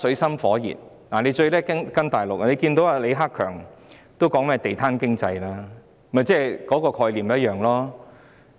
香港最喜歡跟從大陸，李克強總理也提及"地攤經濟"，概念是一樣的。